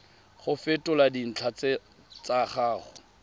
go fetola dintlha tsa gago